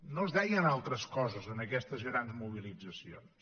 no es deien altres coses en aquestes grans mobilitzacions